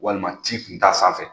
Walima ci kun t'a sanfɛ